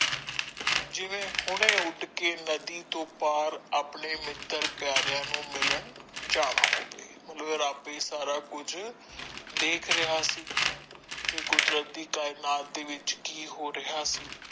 ਜਿਵੇ ਹੋਣੇ ਉੱਡ ਕੇ ਨਦੀ ਤੋਂ ਪਾਰ ਆਪਣੇ ਮਿੱਤਰ ਪਿਆਰਿਆਂ ਨੂੰ ਮਿਲਣ ਜਾਣਾ ਹੋਵੇ ਉਹਨੇ ਆਪੇ ਸਾਰਾ ਕੁਝ ਦੇਖ ਰਹਿਆ ਸੀ ਕੀ ਕੁਦਰਤ ਦੀ ਕਾਇਨਾਤ ਵਿੱਚ ਕੀ ਹੋ ਰਹਿਆ ਸੀ।